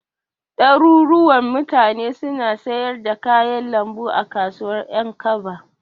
Ɗaruruwan mutane suna siyar da kayan lambu a kasuwar Ƴankaba.